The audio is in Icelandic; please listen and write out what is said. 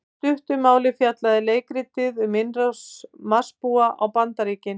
Í stuttu máli fjallaði leikritið um innrás Marsbúa á Bandaríkin.